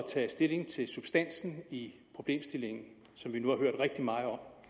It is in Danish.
tage stilling til substansen i problemstillingen som vi nu har hørt rigtig meget om